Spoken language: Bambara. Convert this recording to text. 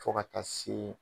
Fo ka taa se